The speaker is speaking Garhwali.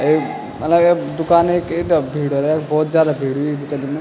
एक अलग ये दूकान क इथ्गा भीड़ बहौत जादा भीड़ हुई दुकनी मा।